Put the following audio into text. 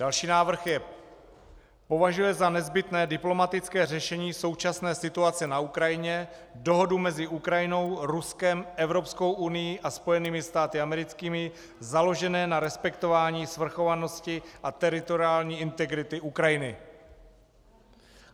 Další návrh je: "Považuje za nezbytné diplomatické řešení současné situace na Ukrajině, dohodu mezi Ukrajinou, Ruskem, Evropskou unií a Spojenými státy americkými, založené na respektování svrchovanosti a teritoriální integrity Ukrajiny."